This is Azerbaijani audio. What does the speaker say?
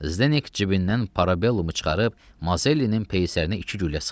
Zdenek cibindən Parabellumu çıxarıb Mazellinin peysərinə iki güllə sıxdı.